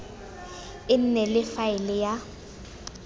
e nne le faele ya